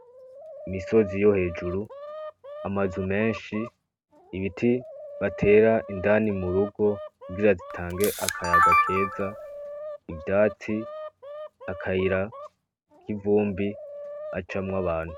Imisozi yo hejuru ama nzu menshi ibiti batera indani mu rugo kugira zitange akayaga keza ivyatsi akayira kivumbi hacamwo abantu.